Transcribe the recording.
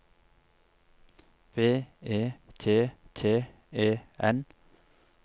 B E T T E N